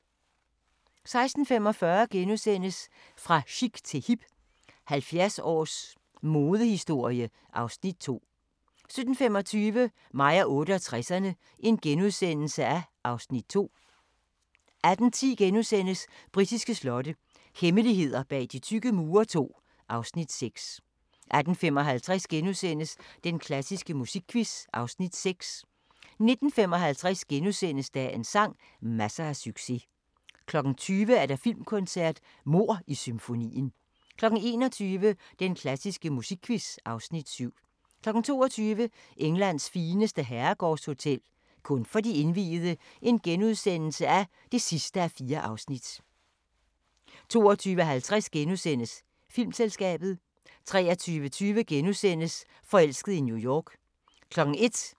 16:45: Fra chic til hip – 70 års modehistorie (Afs. 2)* 17:25: Mig og 68'erne (Afs. 2)* 18:10: Britiske slotte – hemmeligheder bag de tykke mure II (Afs. 6)* 18:55: Den klassiske musikquiz (Afs. 6)* 19:55: Dagens sang: Masser af succes * 20:00: Filmkoncert: Mord i symfonien 21:00: Den klassiske musikquiz (Afs. 7) 22:00: Englands fineste herregårdshotel – kun for de indviede (4:4)* 22:50: Filmselskabet * 23:20: Forelsket i New York *